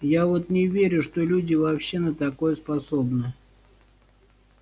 я вот не верю что люди вообще на такое способны